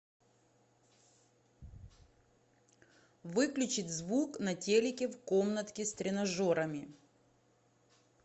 выключить звук на телике в комнатке с тренажерами